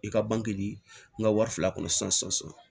I ka bange n ka wari fila kɔnɔ sisan